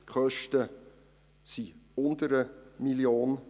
Die Kosten liegen unter 1 Mio. Franken.